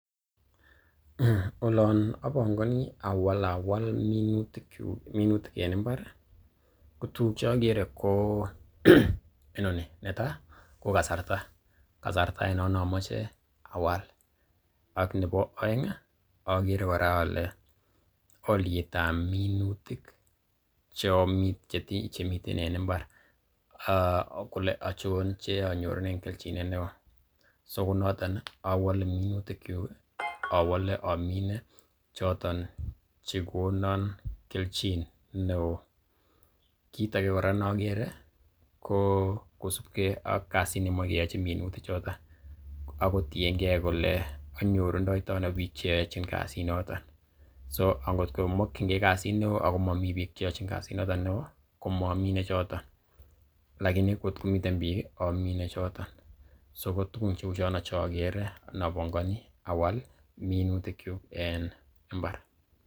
Olon obongoni awalawal minutik en mbar ko tuguk che ogere ko inoni: Netai ko kasarta, kasarta ainon ne omoche awal. Ak nebo oeng ogere kora ale olyet ab minutik che omine che miten en mbar, kole ochon che anyorunen kelchinet neo. So kounoto awole minutikyuk awole omine choton che konon kelchin neo. Kit age kora ne ogere ko kosubge ak kasit nemoe keyochi minutichuto ak kotienge kole anyorundoitoi ano biik che yochin kasinoto so angot ko mokinge kasit neo ago moni biik che yochin kasit noton neo, komomine choto, lakini angot ko miten biik amine choto. So ko tugun cheu chono che ogere nobongoni awal minutikyuk en mbar.